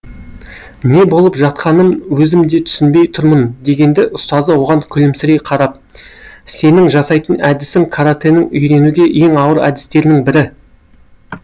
не болып жатқанын өзім де түсінбей тұрмын дегенде ұстазы оған күлімсірей қарап сенің жасайтын әдісің каратэнің үйренуге ең ауыр әдістерінің бірі